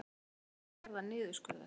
Krefjast milljarða niðurskurðar